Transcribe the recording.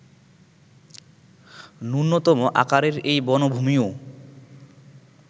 ন্যূনতম আকারের এই বনভূমিও